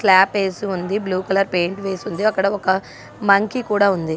Slab AC ఉంది blue colour paint వేసి ఉంది. అక్కడ ఒక మంకీ కూడా ఉంది.